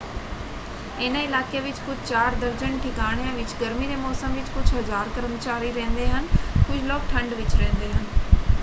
ਇਹਨਾਂ ਇਲਾਕਿਆਂ ਵਿੱਚ ਕੁਝ ਚਾਰ ਦਰਜਨ ਠਿਕਾਣਿਆਂ ਵਿੱਚ ਗਰਮੀ ਦੇ ਮੌਸਮ ਵਿੱਚ ਕੁਝ ਹਜ਼ਾਰ ਕਰਮਚਾਰੀ ਰਹਿੰਦੇ ਹਨ; ਕੁਝ ਲੋਕ ਠੰਡ ਵਿੱਚ ਰਹਿੰਦੇ ਹਨ।